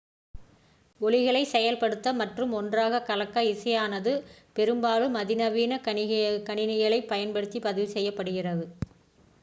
ஒலிகளை செயல்படுத்த மற்றும் ஒன்றாக கலக்க இசையானது பெரும்பாலும் அதிநவீன கணினிகளைப் பயன்படுத்தி பதிவு செய்யப்படுகிறது